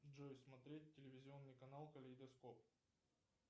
джой смотреть телевизионный канал калейдоскоп